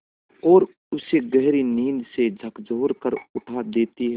और उसे गहरी नींद से झकझोर कर उठा देती हैं